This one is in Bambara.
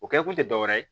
O kɛ kun te dɔ wɛrɛ ye